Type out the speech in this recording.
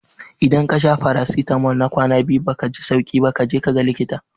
Idan kasha farasitamol na kwana biyu kuma baka ji sauki ba kaji kaga likita